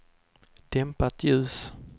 dämpat ljus